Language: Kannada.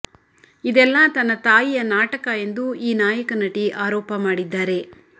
ಇದೆಲ್ಲಾ ತನ್ನ ತಾಯಿಯ ನಾಟಕ ಎಂದು ಈ ನಾಯಕನಟಿ ಆರೋಪ ಮಾಡಿದ್ದಾರೆ